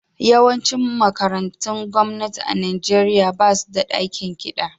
Yawancin makarantun gwamnati a Nijeriya ba su da dakin kiɗa.